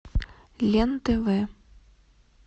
лен тв